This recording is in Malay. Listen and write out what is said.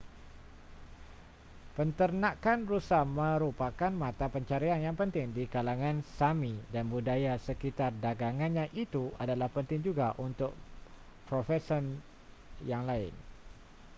penternakan rusa merupakan mata pencarian yang penting di kalangan sámi dan budaya sekitar dagangannya itu adalah penting juga untuk profesion yang lain